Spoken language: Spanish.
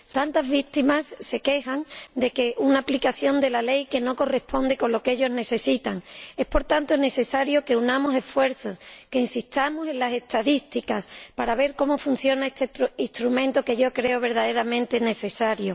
Tantas víctimas se quejan de una aplicación de la ley que no se corresponde con lo que ellas necesitan. Es, por tanto, necesario que unamos esfuerzos, que insistamos en las estadísticas para ver cómo funciona este instrumento, que yo creo verdaderamente necesario.